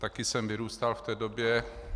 Taky jsem vyrůstal v té době.